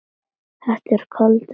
Þetta er kaldur heimur.